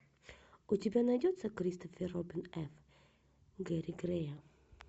у тебя найдется кристофер робин эф гэри грея